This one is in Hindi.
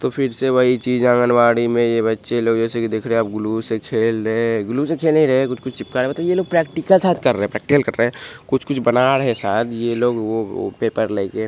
तो फिर से वही चीज आंगनवाड़ी में बच्चे लोग जैसे कि देख रहे आप ग्लू से खेल रहे है ग्लू से खेल नही रहे कुछ-कुछ चिपका रहे है मतलब ये लोग प्रैक्टिकल शायद कर रहे है प्रैक्टिकल कर रहे है कुछ-कुछ बना रहे शायद ये लोग वो पेपर लेके।